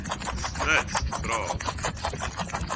smuts vra